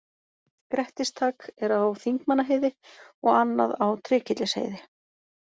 Grettistak er á Þingmannaheiði og annað á Trékyllisheiði.